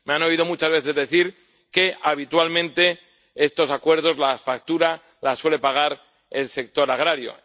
Me han oído muchas veces decir que, habitualmente, en estos acuerdos la factura la suele pagar el sector agrario.